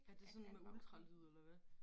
Er det sådan med ultralyd eller hvad